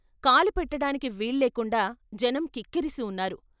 కాలు పెట్టడానికి వీల్లేకుండా జనం కిక్కిరిసి ఉన్నారు.